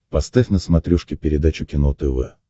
поставь на смотрешке передачу кино тв